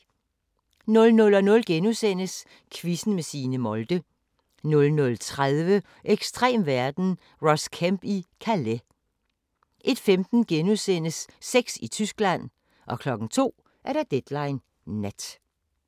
00:00: Quizzen med Signe Molde * 00:30: Ekstrem verden – Ross Kemp i Calais 01:15: Sex i Tyskland * 02:00: Deadline Nat